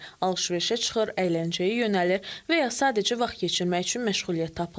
Alış-verişə çıxır, əyləncəyə yönəlir və ya sadəcə vaxt keçirmək üçün məşğuliyyət tapırlar.